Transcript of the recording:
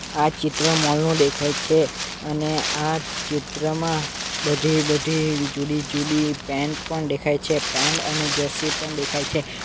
આ ચિત્ર મોલ નું દેખાય છે અને આ ચિત્રમાં બધી બધી જુદી જુદી પેન્ટ પણ દેખાય છે પેન્ટ અને જરસી પણ દેખાય છે.